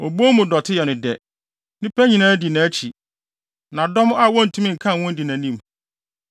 Obon mu dɔte yɛ no dɛ; nnipa nyinaa di nʼakyi, na dɔm a wontumi nkan wɔn di nʼanim.